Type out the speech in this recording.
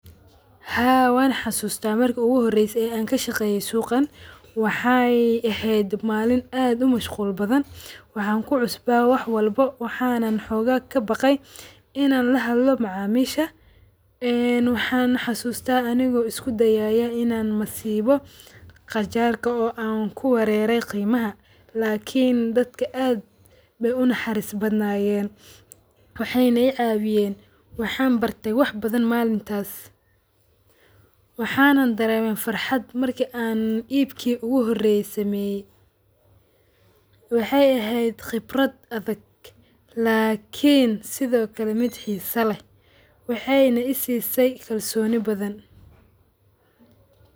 Marki iguhoreyse an kashaqeyo suqan wexey ehed malin aad umashqul badan waxa kcusba wax walbo waxana xoga kabaqay in an lahadlo macamisha waxan xasusta anigo iskudayayo in an masibo qajarka oo an kuwarere qimaha lakin dadka ayey unaxaris badnayen wey icawiyen oo waxan barte wax badan malintas wexeyna dareme farxad marka iibki oguhoreye an sameye wexeyna eheed qibrad adhag lakin sidokale midd xiso leeh wexeya isisay kalsoni badan.